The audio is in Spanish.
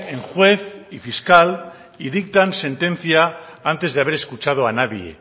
en juez y fiscal y dictan sentencia antes de haber escuchado a nadie